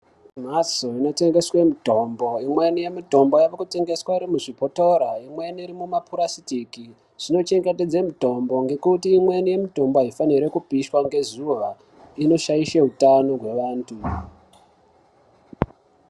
Mhatso inotengeswe mitombo, imweni mitombo yakutengeswa iri muzvibhotora imweni iri mumapurasitiki zvinochengetedza mitombo ngekuti imweni mitombo aifaniri kupishwa ngezuva inoshaishe utano wevantu.